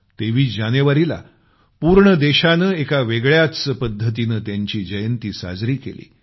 23 जानेवारीला पूर्ण देशानं एका वेगळ्याच पद्धतीनं त्यांची जयंती साजरी केली